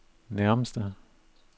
nærmeste